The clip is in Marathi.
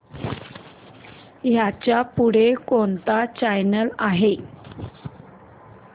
ह्याच्या पुढे कोणता चॅनल आहे